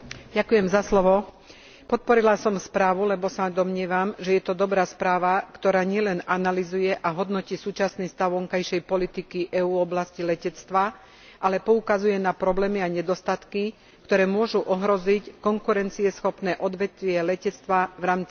Podporila som správu, lebo sa domnievam, že je to dobrá správa, ktorá nielen analyzuje a hodnotí súčasný stav vonkajšej politiky EÚ v oblasti letectva, ale poukazuje na problémy a nedostatky, ktoré môžu ohroziť konkurencieschopné odvetvie letectva v rámci celosvetovej siete.